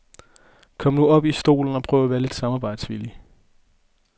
Kom nu op i stolen og prøv at være lidt samarbejdsvillig.